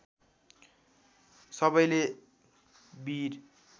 सबैले वीर